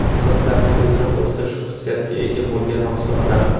Sochlarni tezroq o‘stirish xususiyatiga ega bo‘lgan mahsulotlar.